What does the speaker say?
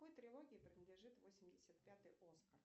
какой трилогии принадлежит восемьдесят пятый оскар